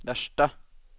värsta